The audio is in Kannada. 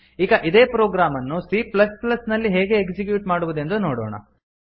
ಈಗ ಇದೇ ಪ್ರೊಗ್ರಾಮ್ ಅನ್ನು c ನಲ್ಲಿ ಹೇಗೆ ಎಕ್ಸಿಕ್ಯೂಟ್ ಮಾಡುವುದೆಂದು ನೋಡೋಣ